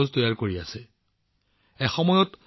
কুম্ভিকাগাজ ষ্টাৰ্টআপে এক বিশেষ কাম আৰম্ভ কৰিছে